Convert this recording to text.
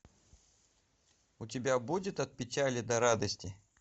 у тебя будет от печали до радости